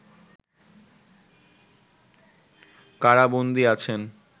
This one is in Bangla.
কারাবন্দী আছেন